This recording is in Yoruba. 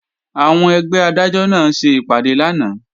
Àwọn ẹgbẹ́ Adájọ́ náà ṣe ìpàdé lánàá